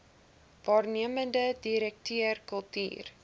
waarnemende direkteur kultuur